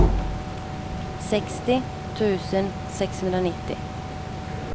sextio tusen sexhundranittio